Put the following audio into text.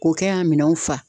K'o kɛ yan minɛnw fa.